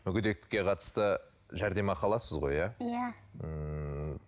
мүгедектікке қатысты жәрдемақы аласыз ғой иә иә ммм